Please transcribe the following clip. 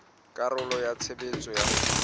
karolo ya tshebetso ya ho